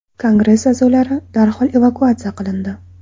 Kongress a’zolari darhol evakuatsiya qilindi.